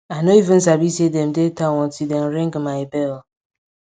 i nor even sabi say dem dey town until dem ring my bell